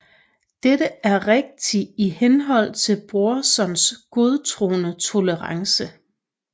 Dette er rigtig i henhold til Brorsons godtroende tolerence